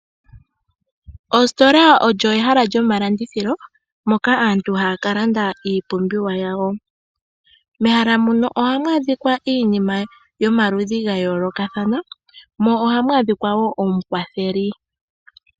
Oositola olyo ehala lyomalandithilo moka aantu haya ka landa iipumbiwa yawo. Mehala muno ohamu adhikwa iinima yomaludhi ga yoolokathana, mo ohamu adhikwa wo omukwatheli.